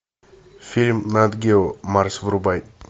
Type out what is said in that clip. фильм нат гео марс врубай